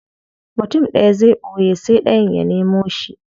Mutum daya zai boye sai dayan ya nemo shi.